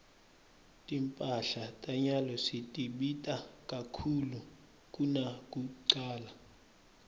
timphahla tanyalo setibita kakhulu kunakucala